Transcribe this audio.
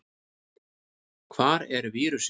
Hvar er vírusinn?